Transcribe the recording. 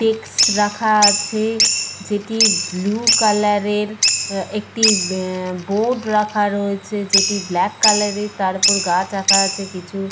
ডেক্স-স রাখা আছে । যেটি ব্লু কালারের একটি অ্যা বোর্ড রাখা রয়েছে যেটি ব্ল্যাক কালারের । তার ওপর গাছ আঁকা রয়েছে কিছু ।